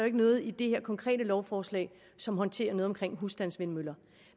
ikke noget i det her konkrete lovforslag som håndterer noget omkring husstandsvindmøller